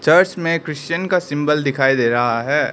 Church में Christian का symbol दिखाई दे रहा है।